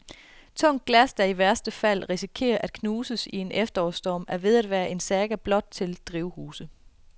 Tungt glas, der i værste fald risikerer at knuses i en efterårsstorm, er ved at være en saga blot til drivhuse.